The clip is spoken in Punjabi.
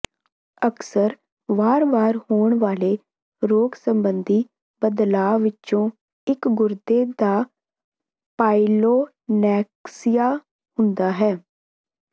ਅਕਸਰ ਵਾਰ ਵਾਰ ਹੋਣ ਵਾਲੇ ਰੋਗ ਸਬੰਧੀ ਬਦਲਾਆਂ ਵਿੱਚੋਂ ਇੱਕ ਗੁਰਦੇ ਦਾ ਪਾਇਲੋਨੈਕਸੀਆ ਹੁੰਦਾ ਹੈ